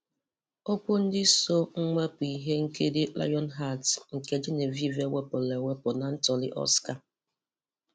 okwu ndị so nnwepụ ihe nkiri LionHeart nke Genevieve ewepụrụ ewepụrụ na ntụli OSCAR.